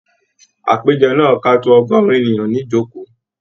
Àpéjọ náà ká tó ọgọrùn ènìyàn nijoko.